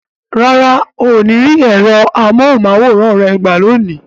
Rárá, o ní rí ẹ̀rọ amóhùn máwòrán rẹ gbà lónìí